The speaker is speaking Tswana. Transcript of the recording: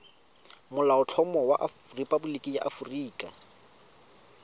molaotlhomo wa rephaboliki ya aforika